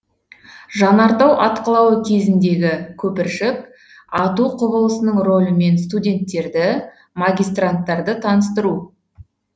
жанартау атқылауы кезіндегі көпіршік ату құбылысының рөлімен студенттерді магистранттарды таныстыру